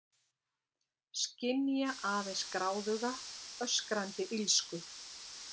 Skynja aðeins gráðuga, öskrandi illsku.